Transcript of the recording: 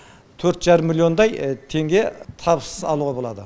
төрт жарым миллиондай теңге табыс алуға болады